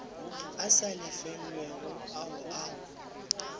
a sa lefelwego ao a